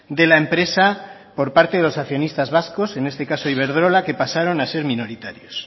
de la empresa por parte de los accionistas vascos en este caso iberdrola que pasaron a ser minoritarios